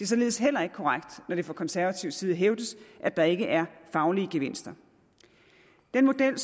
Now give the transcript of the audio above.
således heller ikke korrekt når det fra konservativ side hævdes at der ikke er faglige gevinster den model